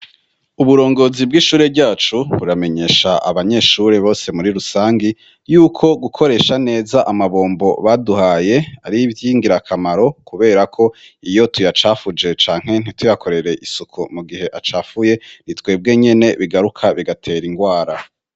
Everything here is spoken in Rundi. uburongozi bw'ishure ryacu buramenyesha abanyeshuri bose muri rusangi yuko gukoresha neza amabombo baduhaye ari vyingira kamaro kubera ko iyo tuyacafuje canke ntituyakorere isuku mu gihe acafuye nitwebwe nyene bigaruka bigatera ingwara